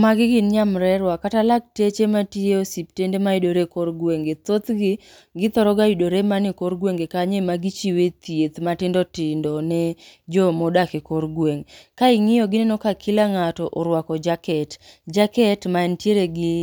Magi gin nyamrerwa kata lakteche matiyo e osiptende mayudore e kor gwenge. Thothgi, githoro ga yudore mana e kor gwenge kanyo ema gichiwe thieth matindotindo ne jomodak e kor gweng'. Ka ing'iyogi ineno ka kila ng'ato orwako jaket. Jaket mantiere gi